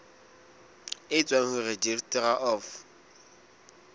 e tswang ho registrar of